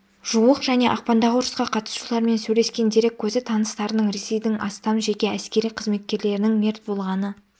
жуық және ақпандағы ұрысқа қатысушылармен сөйлескен дерек көзі таныстарының ресейдің астам жеке әскери қызметкерлерінің мерт болғаны